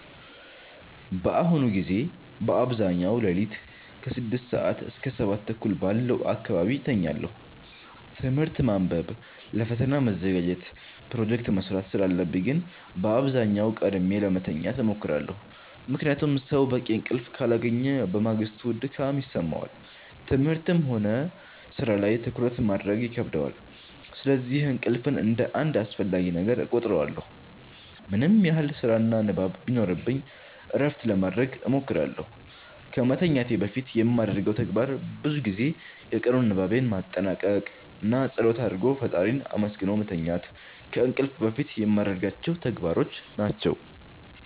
በአሁኑ ጊዜ በአብዛኛው ሌሊት ከ6 ሰዓት እስከ 7:30 ባለው አካባቢ እተኛለሁ። ትምህርት ማንበብ ለፈተና መዘጋጀት ፕሮጀክት መስራት ስላለብኝ ግን በአብዛኛው ቀድሜ ለመተኛት እሞክራለሁ። ምክንያቱም ሰው በቂ እንቅልፍ ካላገኘ በማግስቱ ድካም ይሰማዋል፣ ትምህርትም ሆነ ሥራ ላይ ትኩረት ማድረግ ይከብደዋል። ስለዚህ እንቅልፍን እንደ አንድ አስፈላጊ ነገር እቆጥረዋለሁ። ምንም ያህል ስራና ንባብ ቢኖርብኝ እረፍት ለማረግ እሞክራለሁ። ከመተኛቴ በፊት የማደርገው ተግባር ብዙ ጊዜ የቀኑን ንባቤን ማጠናቀቅ ነው። እና ፀሎት አርጎ ፈጣሪን አመስግኖ መተኛት ከእንቅልፍ በፊት የማረጋቸው ተግባሮች ናቸው።